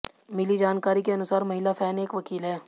मिली जानकारी के अनुसार महिला फैन एक वकील है